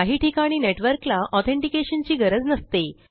काही ठिकाणी नेटवर्कला ऑथेंटिकेशन ची गरज नसते